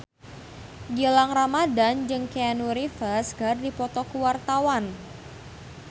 Gilang Ramadan jeung Keanu Reeves keur dipoto ku wartawan